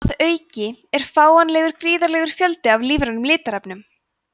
að auki er fáanlegur gríðarlegur fjöldi af lífrænum litarefnum